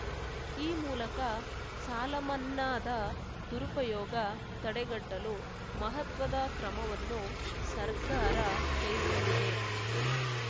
ಈ ಮೂಲಕ ಸಾಲ ಮನ್ನಾದ ದುರುಪಯೋಗ ತಡೆಗಟ್ಟಲು ಮಹತ್ವದ ಕ್ರಮವನ್ನು ಸರ್ಕಾರ ಕೈಗೊಂಡಿದೆ